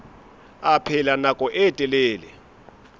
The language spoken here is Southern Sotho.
a phela nako e telele